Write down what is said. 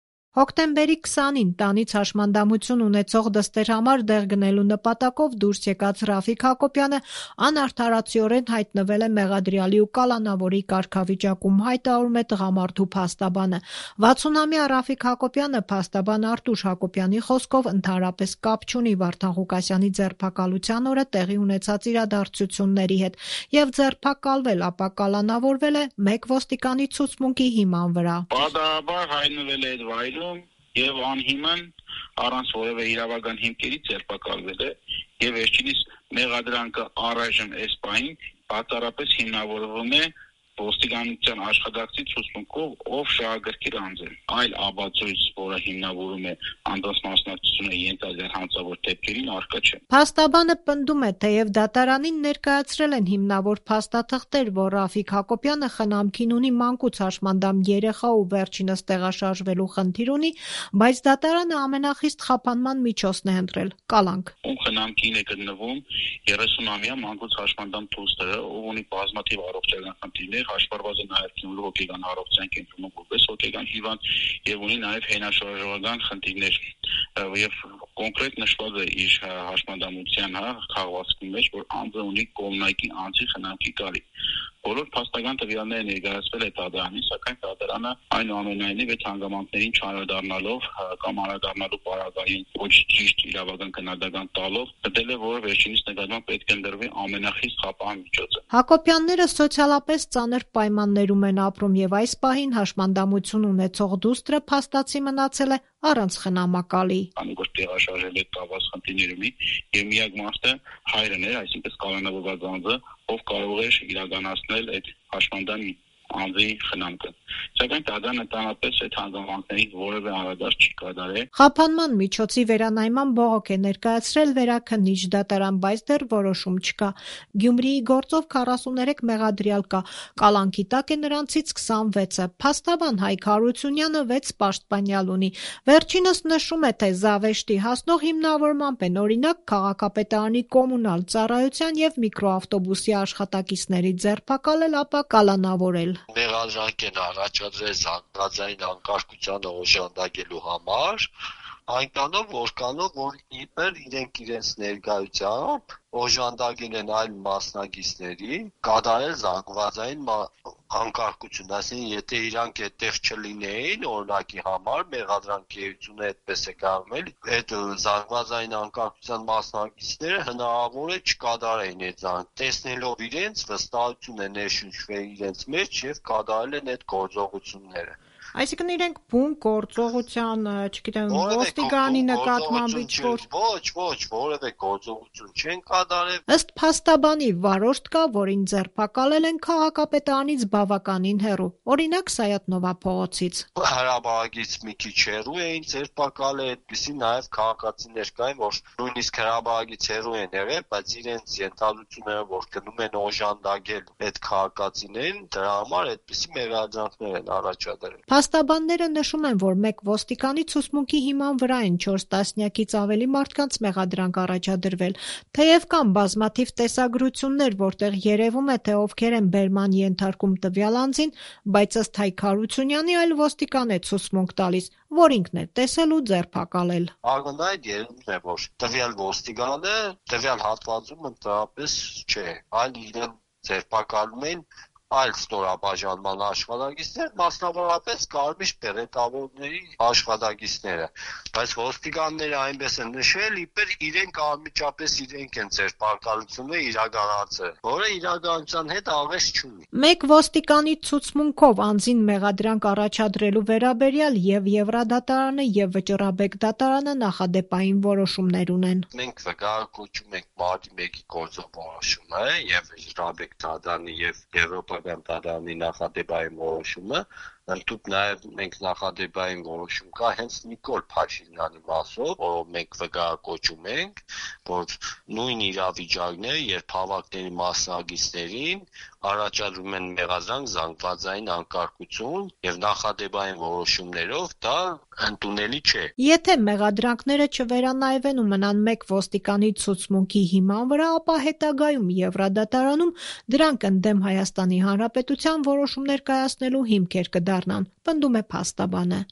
Հոկտեմբերի 20-ին հաշմանդամություն ունեցող դստեր համար դեղ գնելու նպատակով տնից դուրս եկած Ռաֆիկ Հակոբյանը անարդարացիորեն հայտնվել է մեղադրյալի ու կալանավորի կարգավիճակում, հայտարարում է տղամարդու փաստաբանը: 60-ամյա Ռաֆիկ Հակոբյանը փաստաբան Արտուշ Հակոբյանի խոսքով, ընդհանրապես կապ չունի Վարդան Ղուկասյանի ձերբակալության օրը տեղի ունեցած իրադարձությունների հետ և ձերբակալվել, ապա կալանավորվել է մեկ ոստիկանի ցուցմունքի հիման վրա: Փաստաբանն ընդգծում է. «Պատահաբար հայտնվել է այդ վայրում և անհիմն, առանց որևէ իրավական հիմքերի ձերբակալվել է, և վերջինիս մեղադրանքը առայժմ այս պահին բացառապես հիմնավորվում է ոստիկանության աշխատակցի ցուցմունքով, ով շահագրգիռ անձ է, այլ ապացույց, որը հիմնավորում է անձանց մասնակցությունը ենթադրյալ հանցավոր դեպքերին, առկա չէ»: Փաստաբանը պնդում է՝ թեև դատարանին ներկայացրել են հիմնավոր փաստաթղթեր, որ Ռաֆիկ Հակոբյանը խնամքին ունի մանկուց հաշմանդամություն ունեցող երեխա ու վերջինս տեղաշարժվելու խնդիր ունի, բայց դատարանը ամենախիստ խափանման միջոցն է ընտրել՝ կալանք: «Խնամքին է գտնվում 30-ամյա դուստրը, ով ունի բազմաթիվ առողջական խնդիրներ, հաշվառված է նաև «Գյումրու հոգեկան առողջության» կենտրոնում որպես հոգեկան հիվանդ և ունի նաև հենաշարժողական խնդիրներ: Կոնկրետ նշված է իր հաշմանդամության քաղվածքի մեջ, որ անձը ունի կողմնակի անձի կարիք: Բոլոր փաստական տվյալները ներկայացվել է դատարանին, սակայն, դատարանն, այնուամենայնիվ, այդ հանգամանքներին չանդրադառնալով կամ անդրադառնալու պարագային ոչ ճիշտ իրավական գնահատական տալով, գտել է, որ վերջինիս նկատմամբ պետք է ընտրվի ամենախիստ խափան միջոցը», - ասում է փաստաբան Արտուշ Հակոբյանը: Հակոբյանները սոցիալական ծանր պայմաններում են ապրում և այս պահին հաշմանդամություն ունեցող դուստրը փաստացի մնացել է առանց խնամակալի: Փաստաբանը շեշտում է. «Քանի որ տեղաշարժման հետ կապված խնդիրներ ունի, և միակ մարդը հայրն էր, այսինքն՝ կալանավորված անձը, ով կարող էր իրականացնել այդ հաշմանդամ անձի խնամքը։ Սակայն դատարանը ընդհանրապես էայդ հանգամանքներին որևէ անդրադարձ չի կատարել»: Խափանման միջոցի վերանայման բողոք է ներկայացրել Վերաքննիչ դատարան, բայց դեռ որոշում չկա: Գյումրիի գործով 43 մեղադրյալ կա, կալանքի տակ է նրանցից 26-ը: Փաստաբան Հայկ Հարությունյանը 6 պաշտպանյալ ունի: Վերջինս նշում է, թե զավեշտի հասնող հիմնավորմամբ են օրինակ՝ քաղաքապետարանի Կոմունալ ծառայության և միկրոավտոբուսի աշխատակիցների ձերբակալել, ապա կալանավորել: «Մեղադրանք են առաջադրել զանգվածային անկարգությանը օժանդակելու համար այնքանով, որքանով որ իբր իրենք իրենց ներկայությամբ օժանդակել են այլ մասնակիցներին կատարել զանգվածային անկարգություն, այսինքն՝ եթե իրենք այդտեղ չլինեին, օրինակի համար, մեղադրանքի էությունը այդպես է կայանում էլի, այդ զանգվածային անկարգության մասնակիցները հնարավոր է չկատարեին դա՝ տեսնելով իրենց վստահություն է ներշնչվել իրենց մեջ և կատարել են այդ գործողությունները։ Իրենք որևէ գործողություն չեն կատարել»:, - ասում է փաստաբան Հայկ Հարությունյանը: Ըստ փաստաբանի՝ վարորդ կա, որին ձերբակալել են քաղաքապետարանից բավականին հեռու, օրինակ՝ Սայաթ Նովա փողոցից. «Հրապարակից մի քիչ հեռու էին ձերբակալել, այդպիսի քաղաքացիներ կային նաև, որ նույնիսկ հրապարակից հեռու են եղել, բայց իրենց ենթադրություններով, որ գնում են օժանդակեն այդ քաղաքացիներին, դրա համար այդպիսի մեղադրանքներ են առաջադրել»: Փաստաբանները նշում են, որ մեկ ոստիկանի ցուցմունքի հիման վրա են չորս տասնյակից ավելի մարդկանց մեղադրանք առաջադրվել: Թեև կան բազմաթիվ տեսագրություններ, որտեղ երևում է, թե ովքեր են բերման ենթարկում տվյալ անձին, բայց, ըստ Հակ Հարությունյանի, այլ ոստիկան է ցուցմունք տալիս, որ ինքն է տեսել ու ձերբակալել: Փաստաբանի խոսքով.- «Ակնհայտ երևում է, որ տվյալ ոստիկանը տվյալ հատվածում ընդհանրապես չէ, այլ իրեն ձերբակալում են այլ ստորաբաժանման աշխատակիցներ, մասնավորապես կարմիր բերետավորների աշխատակիցները, բայց ոստիկանները այնպես են նշել, իբր՝ անմիջապես իրենք են ձերբակալությունը իրականացրել, որը իրականության հետ աղերս չունի»: Մեկ ոստիկանի ցուցմունքնով անձին մեղադրանք առաջադրելու վերաբերյալ և՛ Եվրադատարանը և՛ Վճռաբեկ դատարանը նախադեպային որոշումներ ունեն: «Մենք վկայակոչում ենք Մարտի 1-ի գործով որոշումը, և՛ Վճռաբեկ դատարանի, և՛ Եվրոպական դատարանի նախադեպային որոշումը, ընդհուպ նաև նախադեպային որոշում կա հենց Նիկոլ Փաշինյանի մասով, որ մենք վկայակոչում ենք, որ նույն իրավիճակն է, երբ հավաքների մասնակիցներին առաջադրում են մեղադրանք, զանգվածային անկարգություն և նախադեպային որոշումներով, դա ընդունելի չէ», - ասում է փաստաբանը: «Եթե մեղադրանքները չվերանայվեն ու մնան մեկ ոստիկանի ցուցմունքի հիման վրա, ապա հետագայում Եվրադատարանում դրանք ընդդեմ ՀՀ-ի որոշումներ կայացնելու հիմքեր կդառնան»,- պնդում է փաստաբանը: